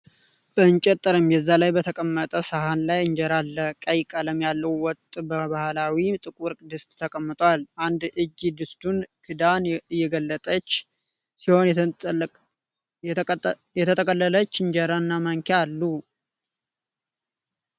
በእንጨት ጠረጴዛ ላይ በተቀመጠ ሰሀን ላይ እንጀራ አለ ። ቀይ ቀለም ያለው ወጥ በባህላዊ ጥቁር ድስት ተቀምጧል። አንድ እጅ የድስቱን ክዳን እየገለጠች ሲሆን፣ የተጠቀለለች እንጀራ እና ማንኪያም አሉ።